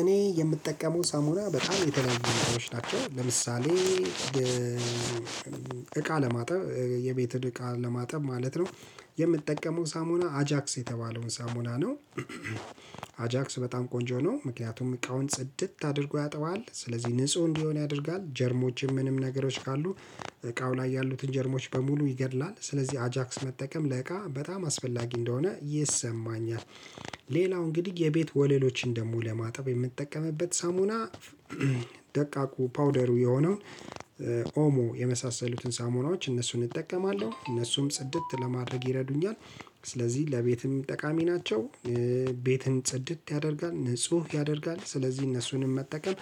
እኔ የምጠቀመው ሳሙና በጣም የተለየ ነው የሚሆነው ለምሳሌ እቃ ለማጠብ የቤትን እቃ ለማጠብ ማለት ነው። የምጠቀመው ሳሙና አጃክስ የተባለውን ሳሙና ነው። አጃክስ በጣም ቆንጆ ነው ምክንያቱም እቃውን ጽድት አድርጎ ያጥበዋል ስለዚህ ንጹህ እንዲሆን ያደርጋል ጀርሞችም ምንም ነገሮች ካሉ እቃው ላይ ያሉትን ጀርሞች በሙሉ ይገድላል ስለዚህ አጃክስ መጠቀም ለእቃ በጣም አስፈላጊ እንደሆነ ይሰማኛል። ሌላው እንግዲህ የቤት ወለሎችን ደግሞ ለማጠብ የምጠቀምበት ሳሙና። ደቃቁ ፓውደሩ የሆነው ኦሞ የመሳሰሉትን ሳሞናዎች እነሱን እጠቀማለሁ እነሱም ጽድት ለማድረግ ይረዱኛል። ስለዚህ ለቤትም ጠቃሚ ናቸው። ቤትን ጽድት ያደርጋል ንጹህ ያደርጋል ስለዚህ እነሱንም መጠቀም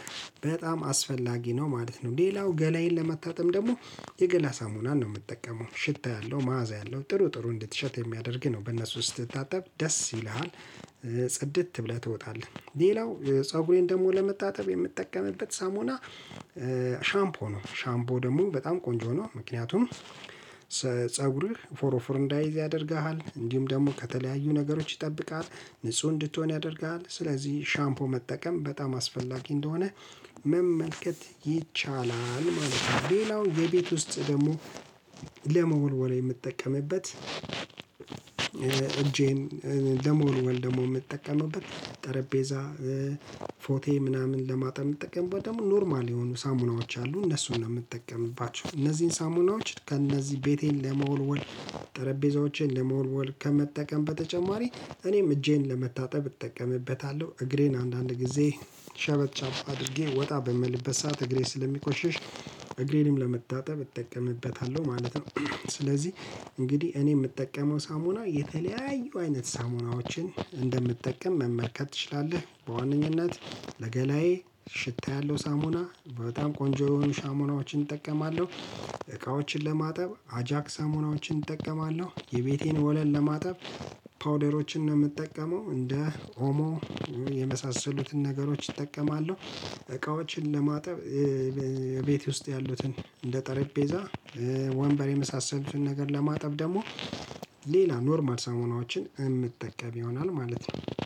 በጣም አስፈላጊ ነው ማለት ነው። ሌላው ገላዬን ለማታጠም ደግሞ የገላ ሳሙናን ነው የምጠቀመው ሽታ ያለው መዓዛ ያለው ጥሩ ጥሩ እንድትሸት የሚያደርግህ ነው በነሱ ስትታጠብ ደስ ይልሃል። ጽድት ብለህ ትወጣለህ። ሌላው ፀጉሬን ደግሞ ለመታተብ የምጠቀምበት ሳሙና። ሻምፖ ነው ሻምፖ ደግሞ በጣም ቆንጆ ነው። ምክንያቱም ፀጉርህ ፎር ፎር እንዳይዝ ያደርግሃል እንዲሁም ደግሞ ከተለያዩ ነገሮች ይጠብቃል። ንጹህ እንድትሆን ያደርግሃል ስለዚህ ሻምፖ መጠቀም በጣም አስፈላጊ እንደሆነ መመልከት ይቻላል ማለት ነው። ሌላው የቤት ውስጥ ደግሞ። ለመወልወል የምትጠቀምበት እጄን ደሞኑን ደሞን የምጠቀመውበት ጠረጴዛ ፎቴ ምናምን ለማጣም የምትጠቀመው ደግሞ ኖርማል የሆኑ ሳሙናዎች አሉ እነሱን ነው የምትጠቀምባቸው እነዚህን ሳሙናዎች ከእነዚህ ቤቴን ለመወልወል። ጠረጴዛዎችን ለመወልወል ከመጠቀም በተጨማሪ እኔም እጄን ለመታጠብ እጠቀምበታለሁ። እግሬን አንዳንድ ጊዜ ሸበጥ አድርጌ ወጣ በምልበት ሰዓት እግሬ ስለሚቆሽሽ እግሬንም ለመታጠብ እጠቀምበታለሁ ማለት ነው። ስለዚህ እንግዲህ እኔ የምጠቀመው ሳሙና የተለያዩ አይነት ሳሙናዎችን እንደምትጠቀም መመልከት ትችላለህ በዋነነት ለገላዬ ሽታ ያለው ሳሙና በጣም ቆንጆ የሆኑ ሳሙናዎችን እጠቀማለሁ። እቃዎችን ለማጠብ አጃክ ሻሞናዎችን እጠቀማለሁ የቤቴን ወለል ለማጠብ ፓውደሮችን ነው የምጠቀመው እንደ ኦሞ የመሳሰሉትን ነገሮች እጠቀማለሁ። እቃዎችን ለማጠብ ቤት ውስጥ ያሉትን እንደ ጠረጴዛ ወንበር የመሳሰሉትን ነገር ለማጠብ ደግሞ ሌላ ኖርማል ሳሙናዎችን የምጠቀም ይሆናል ማለት ነው